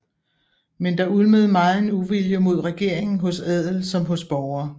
Men der ulmede megen uvilje mod regeringen hos adel som hos borgere